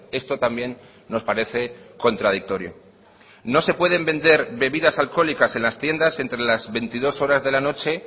esto también nos parece contradictorio no se pueden vender bebidas alcohólicas en las tiendas entre las veintidós cero horas de la noche